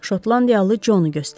Şotlandiyalı Conu göstərdi.